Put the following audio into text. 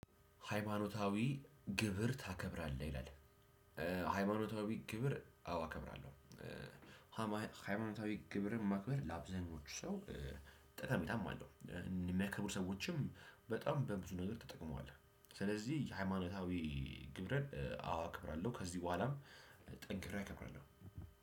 ሃይማኖታዊ ግብር ታከብራለህ ይላል? ሃይማኖታዊ ግብር አዎ አከብራለሁ። ሀማል ሃይማኖታዊ ግብርም ማክበር ላአብዛሀኛዎቹ ሰው ጠቀሜታም አለው። ሚያከብሩ ሰዎችም በጣም በብዙ ነገር ተጠቅመዋለህ። ስለዚህ የሃይማኖታዊ ግብረን አዋአከብራለሁ ከዚህ በኋላም ጠንክሬ አከብራለሁ።